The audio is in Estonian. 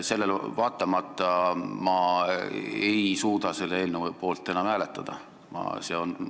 Sellele vaatamata ei suuda ma enam selle eelnõu poolt hääletada.